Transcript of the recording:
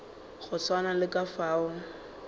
go swana le ka fao